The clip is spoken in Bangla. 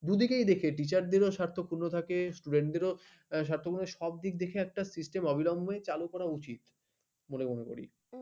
দুদিকেই দেখি teachers দের স্বার্থ পূর্ন থাকে teachers দের ও স্বার্থ তোমার স্বার্থের দিকে system অবিলম্বে চালু করা উচিত বলে মনে করি